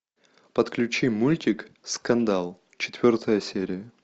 подключи мультик скандал четвертая серия